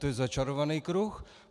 To je začarovaný kruh.